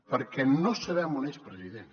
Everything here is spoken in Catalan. perquè no sabem on és president